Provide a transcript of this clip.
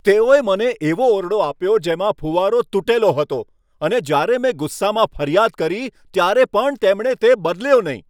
તેઓએ મને એવો ઓરડો આપ્યો જેમાં ફૂવારો તૂટેલો હતો, અને જ્યારે મેં ગુસ્સામાં ફરિયાદ કરી ત્યારે પણ તેમણે તે બદલ્યો નહીં.